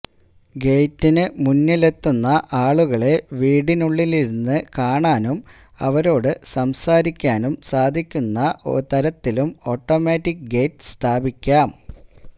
ഗേറ്റിനു മുന്നിലെത്തുന്ന ആളുകളെ വീട്ടിനുള്ളിലിരുന്ന് കാണാനും അവരോടു സംസാരിക്കാനും സാധിക്കുന്ന തരത്തിലും ഓട്ട മാറ്റിക് ഗേറ്റ് സ്ഥാപിക്കാം